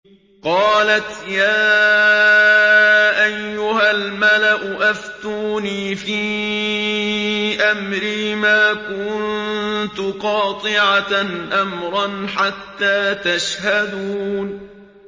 قَالَتْ يَا أَيُّهَا الْمَلَأُ أَفْتُونِي فِي أَمْرِي مَا كُنتُ قَاطِعَةً أَمْرًا حَتَّىٰ تَشْهَدُونِ